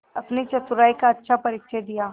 अपनी चतुराई का अच्छा परिचय दिया